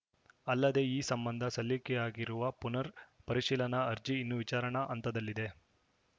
ಅಲ್ಲದೆ ಈ ಸಂಬಂಧ ಸಲ್ಲಿಕೆಯಾಗಿರುವ ಪುನರ್‌ ಪರಿಶೀಲನಾ ಅರ್ಜಿ ಇನ್ನೂ ವಿಚಾರಣಾ ಹಂತದಲ್ಲಿದೆ